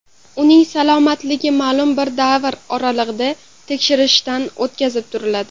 Uning salomatligi ma’lum bir davr oralig‘ida tekshirishdan o‘tkazib turiladi.